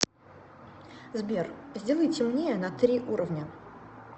сбер сделай темнее на три уровня